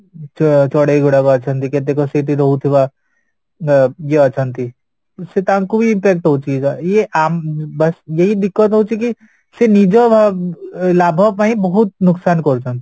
ଛଡେଇ ଗୁଡାକ ଅଛନ୍ତି କେତେକ ସେଠି ରହୁଥିବା ଅଂ ଇଏ ଅଛନ୍ତି ସେ ତାଙ୍କୁବି impact ହଉଚି ଇଏ ବାସ ଏହି ହଉଛିକି ସେ ନିଜ ଲାଭ ପାଇଁ ବହୁତ ଲୋକସାନ କରୁଛନ୍ତି